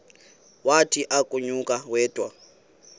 wathi akunakuya wedw